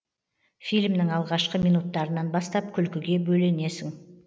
фильмнің алғашқы минуттарынан бастап күлкіге бөлінесің